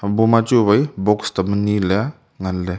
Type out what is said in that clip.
boma chu wai box tam ani le wai ngan ley.